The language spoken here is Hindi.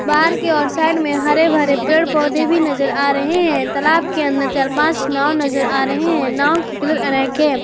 बाहर की ओर साइड में हरे भरे पेड़ पौधे भी नजर आ रहे हैं तलाब के अंदर चार पांच नाव नजर आ रहे हैं नाव के कलर अनेक हैं।